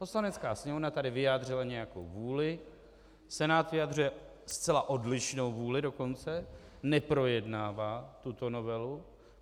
Poslanecká sněmovna tady vyjádřila nějakou vůli, Senát vyjadřuje zcela odlišnou vůli dokonce, neprojednává tuto novelu.